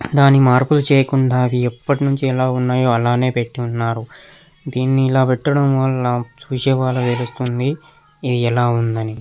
దాని మార్పులు చెయ్యకుండా అవి ఎప్పటినుండి ఎలా ఉన్నాయో అలానే పెట్టి ఉన్నారు. దీనిని ఎలా పెట్టి ఉండటం వాళ్ళ చూసేవాళ్ళకి తెలుస్తుంది ఇది ఎలా ఉందని.